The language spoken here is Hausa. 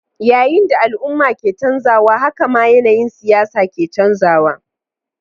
Yayin da al'umma ke canzawa, haka ma yanayin siyasa ke canzawa.